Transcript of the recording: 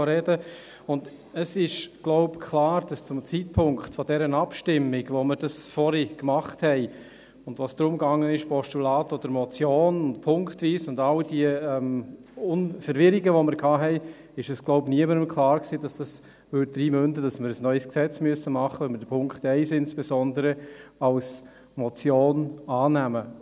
Es ist, denke ich, klar, dass zum Zeitpunkt dieser Abstimmung, als wir diese vorhin machten – und es ging um Postulat oder Motion, punktweise, und bei all diesen Verwirrungen, die wir hatten – wohl niemandem klar war, dass dies darin münden würde, dass wir ein neues Gesetz machen müssen, wenn wir insbesondere Punkt 1 als Motion annehmen.